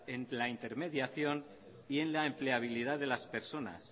en la intermediación y en la empleabilidad de las personas